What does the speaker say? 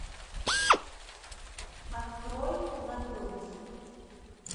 открой на грудь